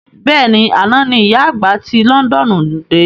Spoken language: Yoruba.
Bẹ́ẹ̀ni, àná ní ìyá àgbà ti Londoonu de